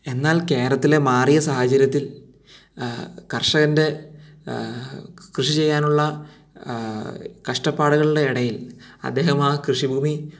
എന്നാൽ കേരളത്തിലെ മാറിയ സാഹചര്യത്തിൽ ആഹ് കർഷകൻറെ എഹ് കൃഷി ചെയ്യാനുള്ള ആഹ് കഷ്ടപ്പാടുകളുടെ ഇടയിൽ അദ്ദേഹം ആ കൃഷിഭൂമി